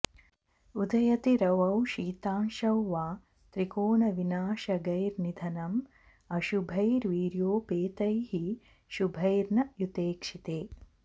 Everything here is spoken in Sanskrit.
उदयति रवौ शीतांशौ वा त्रिकोण विनाशगैर्निधनम् अशुभैर्वीर्योपेतैः शुभैर्न युतेक्षिते